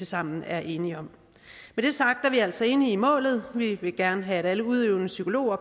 sammen er enige om med det sagt er vi altså enige i målet vi vil gerne have at alle udøvende psykologer